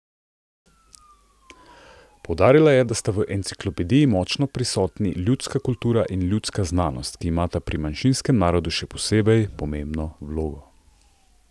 Poudarila je, da sta v enciklopediji močno prisotni ljudska kultura in ljudska znanost, ki imata pri manjšinskem narodu še posebej pomembno vlogo.